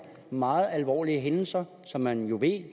meget alvorlige hændelser som man jo ved